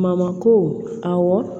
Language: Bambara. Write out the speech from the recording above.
Mamako awɔ